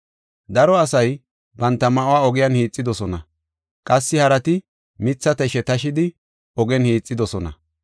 Daro asay banta ma7uwa ogiyan hiixidosona; qassi harati mitha tashe tashidi, ogen hiixidosona.